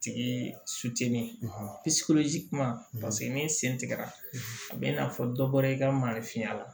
Tigi kuma paseke n'i sen tigɛra a bɛ i n'a fɔ dɔ bɔra i ka mali finya la